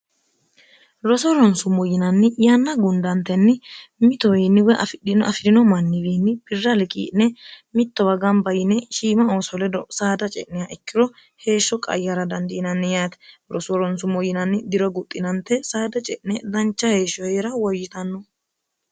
roso ronsummo yinanni yanna gundantenni mitowiinniwo afidhino afi'rino manniwiinni birrali qii'ne mittowa gamba yine shiima ooso ledo saada ce'neha ikkiro heeshsho qayyara dandiinanni yaati roso ronsummo yinanni dira guxxinante saada ce'ne dancha heeshshoheira woyyitanno